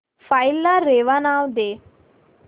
file ला रेवा नाव दे